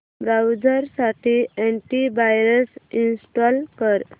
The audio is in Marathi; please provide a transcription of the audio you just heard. ब्राऊझर साठी अॅंटी वायरस इंस्टॉल कर